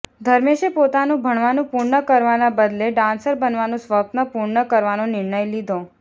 ધર્મેશે પોતાનું ભણવાનું પૂર્ણ કરવાના બદલે ડાન્સર બનવાનું સ્વપ્ન પૂર્ણ કરવાનો નિર્ણય લીધો